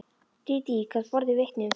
Dídí gat borið vitni um það.